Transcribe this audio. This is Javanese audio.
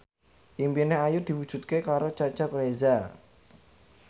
impine Ayu diwujudke karo Cecep Reza